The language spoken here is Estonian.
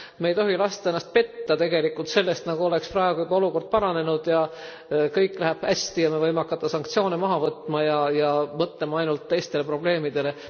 Me ei tohi lasta ennast tegelikult petta sellest, nagu oleks praegu juba olukord paranenud ja kõik läheb hästi ja me võime hakata sanktsioone maha võtma ja mõtlema ainult teistele probleemidele.